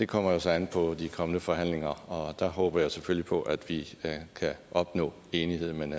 kommer så an på de kommende forhandlinger og der håber jeg selvfølgelig på at vi kan opnå enighed men